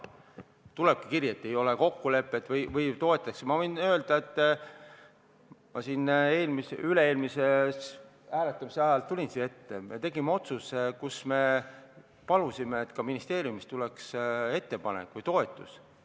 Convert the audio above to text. Ma võin öelda, et ma üle-eelmise hääletamise ajal tulin siia ette, sest me palusime, et ka ministeeriumist tuleks toetus.